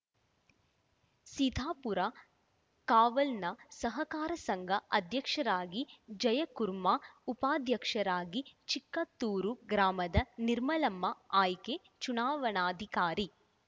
ಸೀಧಾ ಪುರ ಕಾವಲ್‌ನ ಸಹಕಾರ ಸಂಘ ಅಧ್ಯಕ್ಷರಾಗಿ ಜಯಕುರ್ಮ ಉಪಾಧ್ಯಕ್ಷರಾಗಿ ಚಿಕ್ಕಾತ್ತೂರು ಗ್ರಾಮದ ನಿರ್ಮಲಮ್ಮ ಆಯ್ಕೆ ಚುನಾವಣಾಧಿಕಾರಿ